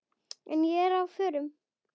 En ég er á förum.